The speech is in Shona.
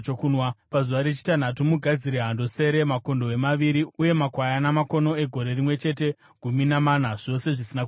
“ ‘Pazuva rechitanhatu, mugadzire hando sere, makondobwe maviri uye makwayana makono egore rimwe chete, gumi namana, zvose zvisina kuremara.